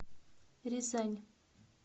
рязань